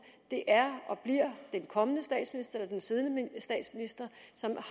det er og bliver den siddende statsminister som